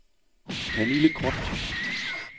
Pernille Groth